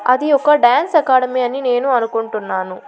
అది ఒక dance academy అని నేను అనుకుంటున్నాను.